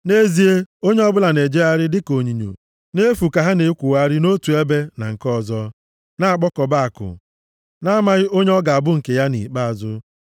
“Nʼezie onye ọbụla na-ejegharị dịka onyinyo nʼefu ka ha na-ekwogharị nʼotu ebe na nke ọzọ, na-akpakọba akụ, na-amaghị onye ọ ga-abụ nke ya nʼikpeazụ.